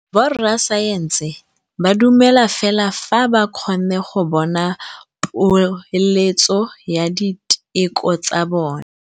Borra saense ba dumela fela fa ba kgonne go bona poeletsô ya diteko tsa bone.